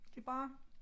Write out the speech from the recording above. Det er bare